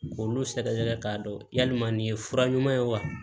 K'olu sɛgɛsɛgɛ k'a dɔn yalima nin ye fura ɲuman ye wa